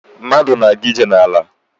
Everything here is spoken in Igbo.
Mmadụ na-aga ije n'ala.